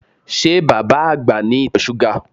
Ṣé bàbá àgbà ní ìtọ̀ súgà?